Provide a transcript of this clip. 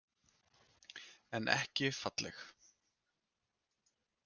En ekki falleg.